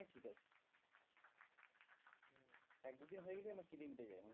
এক দু দিন হয়ে গেলেই আমার খিদে মিটে যায় আমার